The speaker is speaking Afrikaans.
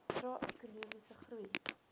trae ekonomiese groei